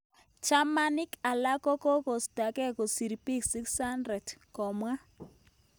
Chamanik alak kokokostagen kosir pik 600.komwa